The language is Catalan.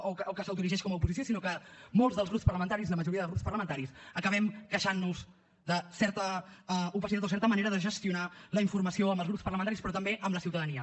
o que s’autoerigeix com a oposició sinó que molts dels grups parlamentaris la majoria de grups parlamentaris acabem queixant nos de certa opacitat o certa manera de gestionar la informació amb els grups parlamentaris però també amb la ciutadania